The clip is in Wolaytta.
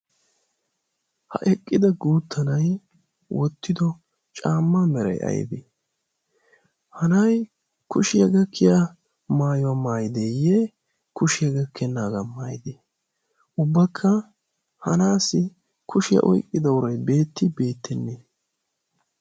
ha eqqida guuttanai wottido caamma merai aibee hanai kushiyaa gakkiya maayuwaa maayideeyye kushiyaa gakkennaagaa maayidee ubbakka hanaassi kushiyaa oiqqida uray beetti beettennee?